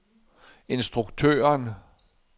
instruktøren